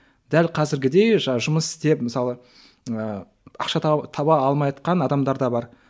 дәл қазіргідей жұмыс істеп мысалы ыыы ақша таба алмайатқан адамдар да бар